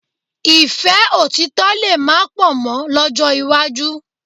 Ìfẹ́ òtítọ̀ lè má pọ̀ mọ́ lọ́jọ́ iwájú